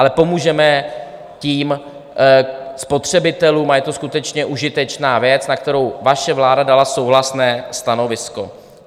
Ale pomůžeme tím spotřebitelům a je to skutečně užitečná věc, na kterou vaše vláda dala souhlasné stanovisko.